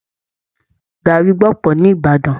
Gàrrí gbọ̀pọ̀ ní Ìbàdàn.